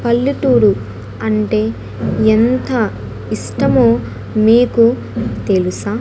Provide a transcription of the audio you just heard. పల్లెటూరు అంటే ఎంత ఇష్టమో మీకు తెలుసా.